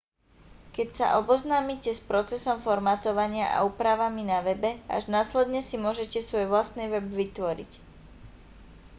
keď sa oboznámite s procesom formátovania a úpravami na webe až následne si môžete svoj vlastný web vytvoriť